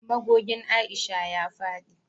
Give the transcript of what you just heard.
Magogin Aisha ya fadi